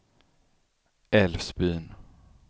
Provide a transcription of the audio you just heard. Älvsbyn